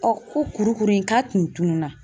Ɔ ko kuru kuru in k'a kun tununna.